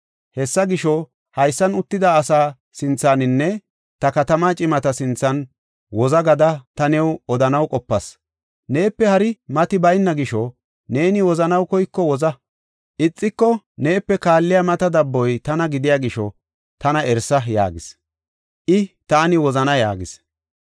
Hessa gisho, haysan uttida asa sinthaninne ta katama cimata sinthan, woza gada ta new odanaw qopas. Neepe hari maati bayna gisho neeni wozanaw koyiko woza; ixiko, neepe kaalliya maata dabboy tana gidiya gisho tana erisa” yaagis. I “Taani wozana” yaagis.